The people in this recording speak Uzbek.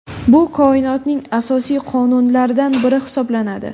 Bu Koinotning asosiy qonunlaridan biri hisoblanadi.